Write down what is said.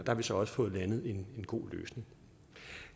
har vi så også fået landet en god løsning